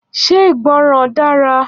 Ṣé ìgbọràn dara?